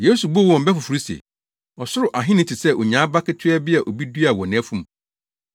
Yesu buu wɔn bɛ foforo se, “Ɔsoro Ahenni te sɛ onyaa aba ketewa bi a obi duaa wɔ nʼafum.